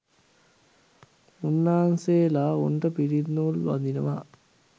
මුන්නාන්සේලා උන්ට පිරිත් නූල් බඳිනවා